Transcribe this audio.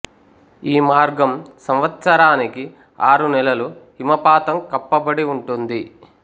ఈ మార్గం సంవత్సరానికి ఆరు నెలలు హిమపాతం కప్పబడి ఉంటుంది